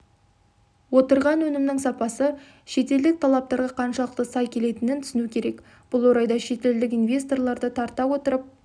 отырған өнімнің сапасы шетелдік талаптарға қаншалықты сай келетінін түсінукерек бұл орайда шетелдік инвесторларды тарта отырып